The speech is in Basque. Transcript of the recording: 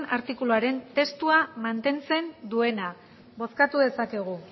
artikuluaren testua mantentzen duena bozkatu dezakegu